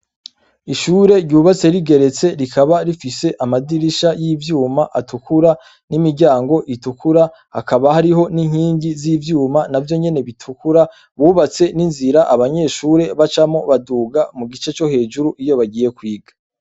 Ishure ryubatse rigeretse rikaba rifise amadirisha y'ivyuma atukura n'imiryango itukura hakaba hariho n'inkingi z'ivyuma navyo nyene bitukura, bubatse n'inzira abanyeshure bacamwo baduga mu gice co hejuru iyo bagiye kwiga.